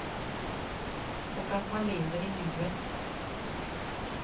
Och att man lever i nuet.